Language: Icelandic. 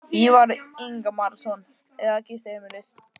Ívar Ingimarsson: Eða gistiheimilið?